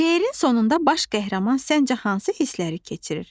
Şeirin sonunda baş qəhrəman səncə hansı hissləri keçirir?